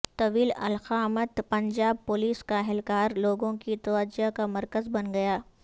طویل القامت پنجاب پولیس کااہلکار لوگوں کی توجہ کا مرکز بن گیا